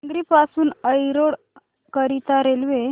केंगेरी पासून एरोड करीता रेल्वे